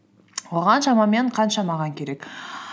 оған шамамен қанша маған керек